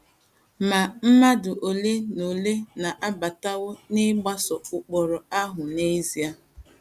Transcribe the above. Ma mmadụ ole na ole anabatawo ma gbasoo ụkpụrụ ahụ n’ezie.